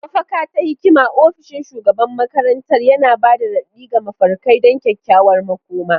Mafaka ta hikima, ofishin shugaban makarantar, yana ba da raɗaɗi ga mafarkai don kyakkyawar makoma.